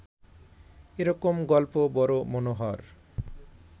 এ রকম গল্প বড় মনোহর